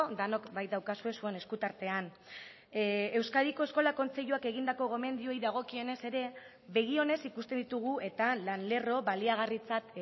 denok baitaukazue zuen esku tartean euskadiko eskola kontseiluak egindako gomendioei dagokienez ere begi onez ikusten ditugu eta lan lerro baliagarritzat